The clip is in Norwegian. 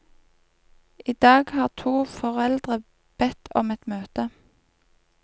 I dag har to foreldre bedt om et møte.